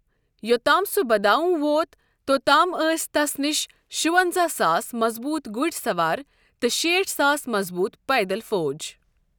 یوتام سُہ بداوں ووت، توتام ٲسۍ تس نِش شُونٛزا ساس مَضبوٗط گوڈۍ سَوار تہٕ شیٖٹھ ساس مَضبوٗط پیدل فوج ۔